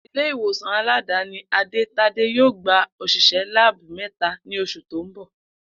Ilé ìwòsàn aládàáni Ade-Tade yóò gba ò̩s̩ìs̩é̩ láàbù mé̩ta ní os̩ù tó ń bò̩